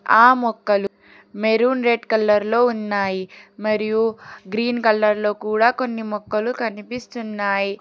ఆ మొక్కలు maroon red colour లో ఉన్నాయి మరియు గ్రీన్ కలర్ లో కూడ కొన్ని మొక్కలు కనిపిస్తున్నాయి.